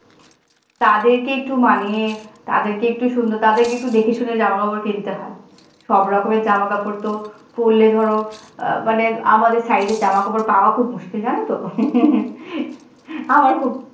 তাদেরকে একটু মানিয়ে তাদেরকে একটু সুন্দর তাদের কে একটু দেখেশুনে জামা-কাপড় কিনতে হয় সব রকমের জামা কাপড় তো পড়লে ধরা মানে আমাদের size এর জামাকাপড় পাওয়া খুব মুশকিল জানে তো আমার খূব